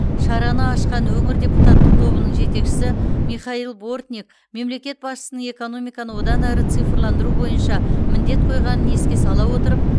шараны ашқан өңір депутаттық тобының жетекшісі михаил бортник мемлекет басшысының экономиканы одан әрі цифрландыру бойынша міндет қойғанын еске сала отырып